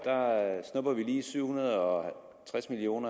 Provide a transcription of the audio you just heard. lige snupper syv hundrede og tres million